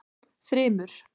Þrymur